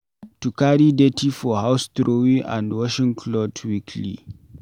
To carry dirty for house trowey vs washing cloth weekly